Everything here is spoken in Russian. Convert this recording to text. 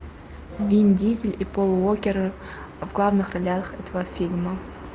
вин дизель и пол уокер в главных ролях этого фильма